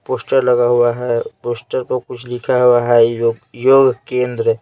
poster लगा हुआ है पोस्टर पर कुछ लिखा हुआ है योग योग केंद्र--